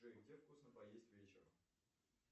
джой где вкусно поесть вечером